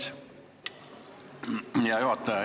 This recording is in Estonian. Hea juhataja!